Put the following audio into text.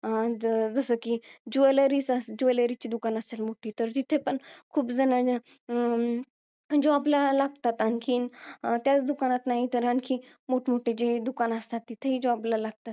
जसं कि, jewellery चं, अं jewellery ची दुकानं असतात, तिथं. तिथं पण खूप जण अं job ला लागतात. आणखीन, त्याच दुकानात नाही तर आणखीन, मोठमोठी जे दुकानं असतात, तिथेही job ला लागतात.